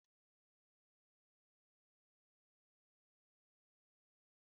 Kpachara anya, ama ná m njakịrị ahụ ọzọ!